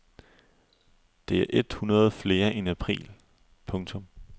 Det er et hundrede flere end i april. punktum